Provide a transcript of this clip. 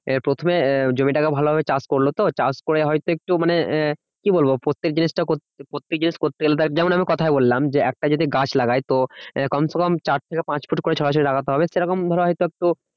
প্রথমে জমিটাকে ভালোভাবে চাষ করলো তো চাষ করে হয়তো একটু মানে কি বলবো প্রত্যেক জিনিসটা কর~করতে যেমন আমি কথায় বললাম যে একটা যদি গাছ লাগাই তো কম সে কম চার থেকে পাঁচ ফুট করে ছাড়া ছাড়া লাগাতে হবে সেরকম ধরো